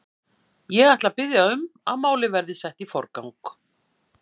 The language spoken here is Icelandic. Ég ætla að biðja um að málið verði sett í forgang.